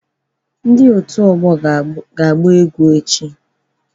Ndị otú afọ ga-agba egwu echi.